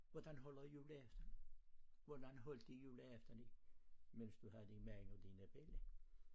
Hvordan holder i juleaften? hvordan holdte i juleaften imens du havde din mand og dine bella?